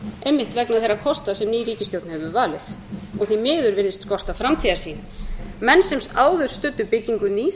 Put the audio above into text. einmitt vegna þeirra kosta sem ný ríkisstjórn hefur valið og því miður virðist skorta framtíðarsýn menn sem áður studdu byggingu nýs